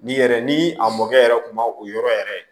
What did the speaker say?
N'i yɛrɛ ni a mɔkɛ yɛrɛ kun ma o yɔrɔ yɛrɛ